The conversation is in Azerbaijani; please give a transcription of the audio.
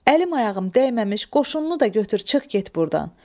Əlim ayağım dəyməmiş qoşununu da götür çıx get burdan.